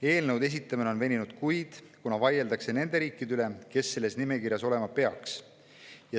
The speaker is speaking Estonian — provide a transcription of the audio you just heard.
Eelnõude esitamine on veninud kuid, kuna vaieldakse nende riikide üle, mis selles nimekirjas olema peaks.